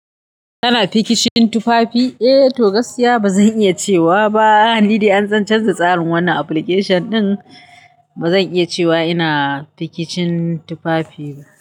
Kana fikicin tufafi? Eh, to gasiya ba zan iya cewa ba. Ni dai an canza tsarin wannan application ɗin, ba zan iya cewa ina fikicin tufafi.